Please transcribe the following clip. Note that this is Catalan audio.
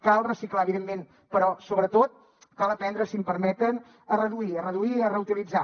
cal reciclar evidentment però sobretot cal aprendre si em permeten a reduir a reduir i a reutilitzar